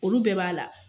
Olu bɛɛ b'a la